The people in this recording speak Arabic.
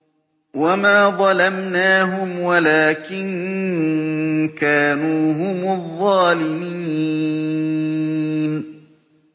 وَمَا ظَلَمْنَاهُمْ وَلَٰكِن كَانُوا هُمُ الظَّالِمِينَ